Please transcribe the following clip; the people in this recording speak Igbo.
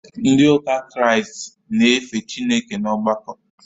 Ndị ụka kraịstị na-efe Chineke n’ọgbakọ